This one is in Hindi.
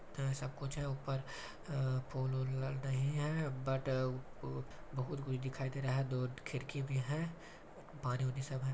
-- ऐसा कुछ है ऊपर अ फूल-ऊल नहीं है बट बहुत कुछ दिखाई दे रहा हैं दो ठो खिड़की भी है पानी उनी सब है।